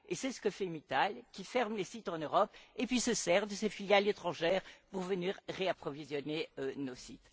C'est ce que fait Mittal, qui ferme les sites en Europe puis se sert de ses filiales étrangères pour venir réapprovisionner ceux ci.